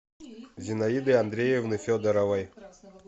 зинаиды андреевны федоровой